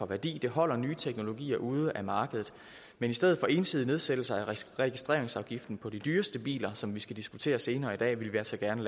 værdi det holder nye teknologier ude af markedet men i stedet for en ensidig nedsættelse af registreringsafgiften på de dyreste biler som vi skal diskutere senere i dag vil vi altså gerne